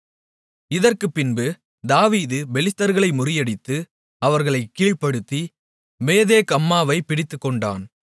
இதற்குப் பின்பு தாவீது பெலிஸ்தர்களை முறியடித்து அவர்களைக் கீழ்ப்படுத்தி மேத்தேக் அம்மாவைப் பிடித்துக்கொண்டான்